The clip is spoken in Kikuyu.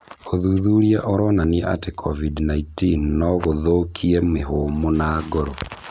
ũthuthuria ũronania atĩ COVID-19 no gũthũkie mĩhũmũ na ngoro.